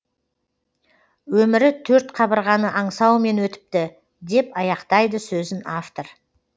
өмірі төрт қабырғаны аңсаумен өтіпті деп аяқтайды сөзін автор